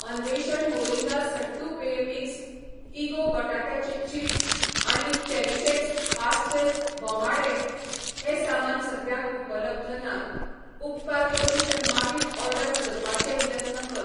अन्वेषण मोरिंगा सट्टू पेय मिक्स, इगो बटाट्याचे चिप्स आनी चेरीशएक्स पास्टेल बोमाडे हें सामान सद्याक उपलब्ध नात, उपकार करून ते मागीर ऑर्डर करपाचे यत्न कर.